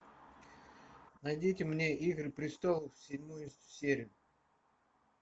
найдите мне игры престолов седьмую серию